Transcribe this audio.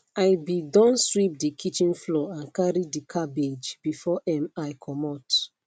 i be don sweep de kitchen floor and carry de cabbage before um i comot